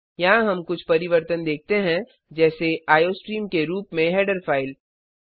यहाँ हम कुछ परिवर्तन देखते हैं जैसे आईओस्ट्रीम के रूप में हेडर फाइल